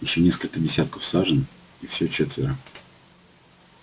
ещё несколько десятков сажен и всё четверо